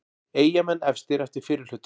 Eyjamenn efstir eftir fyrri hluta